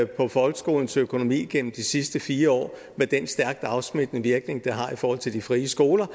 på folkeskolens økonomi gennem de sidste fire år med den stærkt afsmittende virkning det har i forhold til de frie skoler